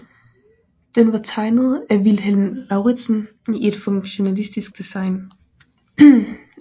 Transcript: Den var tegnet af Vilhelm Lauritzen i et funktionalistisk design